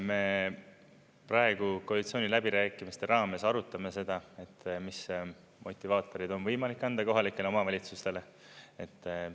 Me praegu koalitsiooniläbirääkimiste raames arutame seda, mis motivaatorid on võimalik anda kohalikele omavalitsustele.